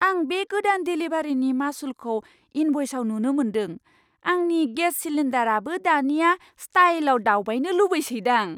आं बे गोदान देलिभारिनि मासुलखौ इनभ'इसआव नुनो मोनदों। आंनि गेस सिलिन्डारआबो दानिया स्टाइलआव दावबायनो लुबैसैदां!